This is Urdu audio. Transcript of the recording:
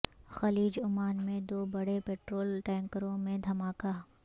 خلیج عمان میں دو بڑے پیٹرول ٹینکروں میں دھماکہ